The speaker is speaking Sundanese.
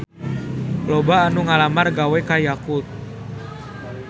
Loba anu ngalamar gawe ka Yakult